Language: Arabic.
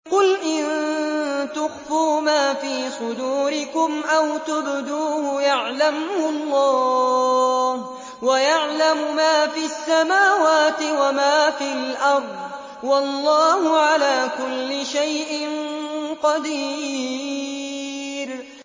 قُلْ إِن تُخْفُوا مَا فِي صُدُورِكُمْ أَوْ تُبْدُوهُ يَعْلَمْهُ اللَّهُ ۗ وَيَعْلَمُ مَا فِي السَّمَاوَاتِ وَمَا فِي الْأَرْضِ ۗ وَاللَّهُ عَلَىٰ كُلِّ شَيْءٍ قَدِيرٌ